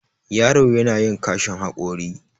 yaro yana yin kashin haƙori